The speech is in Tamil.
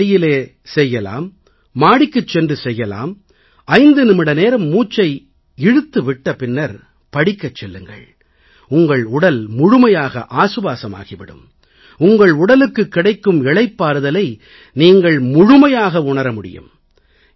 திறந்த வெளியிலே மாடிக்குச் செல்லலாம் 5 நிமிட நேரம் மூச்சை இழுத்து விட்ட பின்னர் படிக்கச் செல்லுங்கள் உங்கள் உடல் முழுமையாக ஆசுவாசமாகி விடும் உங்கள் உடலுக்குக் கிடைக்கும் இளைப்பாறுதலை நீங்கள் முழுமையாக உணர முடியும்